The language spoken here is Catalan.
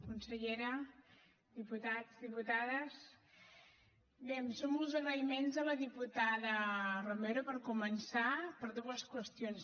consellera diputats diputades bé em sumo als agraïments de la diputada romero per començar per dues qüestions